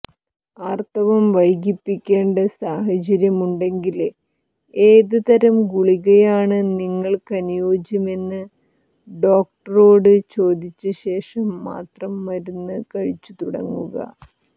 ആര്ത്തവം വൈകിപ്പിക്കേണ്ട സാഹചര്യമുണ്ടെങ്കില് ഏത് തരം ഗുളികയാണ് നിങ്ങള്ക്കനുയോജ്യമെന്ന് ഡോക്ടറോട് ചോദിച്ച ശേഷം മാത്രം മരുന്ന് കഴിച്ച് തുടങ്ങുക